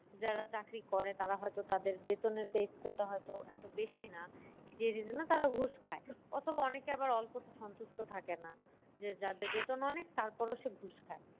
যারা চাকরি করে তারা হয় তো তাদের বেতনের হয় তো এতো বেশি না জন্য তারা ঘুষ খায় অথবা অনেকে আবার অল্পতে সন্তুষ্ট থাকে না। যে যাদের বেতন অনেক তার পরও সে ঘুষ খায়।